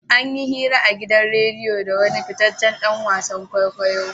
An yi hira a gidan radiya da wani fitaccen dan wasan kwaikwayo.